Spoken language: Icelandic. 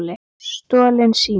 Stolinn sími